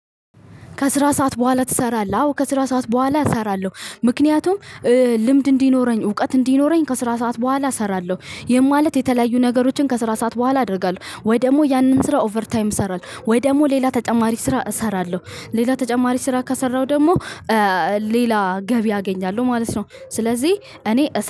ከስራ ሰዓት በኋላ ትሰራለህ? አዎ ከስራ ሰዓት በኋላ እሰራለሁ። ምክንያቱም ልምድ እንዲኖረኝ እውቀት እንዲኖረኝ ከስራ ሰዓት በኋላ እሰራለሁ። ይሄም ማለት የተለያዩ ነገሮችን ከስራ ሰዓት በኋላ አደርጋለሁ ወይ ደግሞ ያንን ስራ ኦቨር ታይም እሰራለሁ። ወይ ደግሞ ሌላ ተጨማሪ ስራ እሰራለሁ። ሌላ ተጨማሪ ስራ ከሰራሁ ደግሞ ሌላ ገቢ አገኛለሁ ማለት ነው። ስለዚህ እኔ